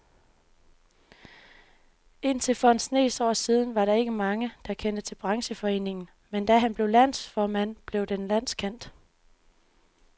Indtil for en snes år siden var der ikke mange, der kendte til brancheforeningen, men da han blev landsformand, blev den landskendt.